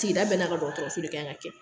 Sigida bɛɛ n'a ka dɔgɔtɔrɔso de kan ka kɛ